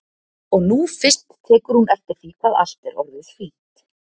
Og nú fyrst tekur hún eftir því hvað allt er orðið fínt.